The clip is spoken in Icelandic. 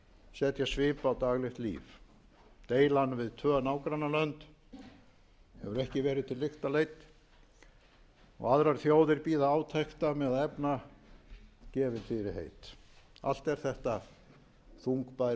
setja svip á daglegt líf deilan við tvö nágrannalönd hefur ekki verið til lykta leidd og aðrar þjóðir bíða átekta með að efna gefin fyrirheit allt er þetta þungbær